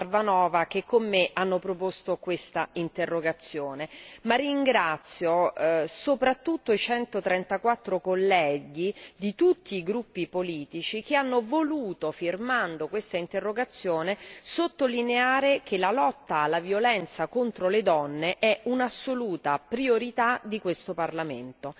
Parvanova che con me hanno proposto quest'interrogazione, ma ringrazio soprattutto i 134 colleghi di tutti i gruppi politici che hanno voluto, firmando quest'interrogazione, sottolineare che la lotta alla violenza contro le donne è un'assoluta priorità di questo Parlamento.